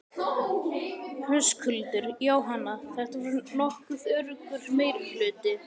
Höskuldur: Jóhanna, þetta var nokkuð öruggur meirihluti?